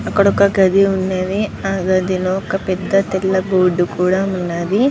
అక్కడ వక గది ఉన్నది హ గది లో వాక పేద ఓక్కా తేలబోర్డు కూడా ఉన్నది.